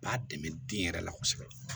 B'a dɛmɛ den yɛrɛ la kosɛbɛ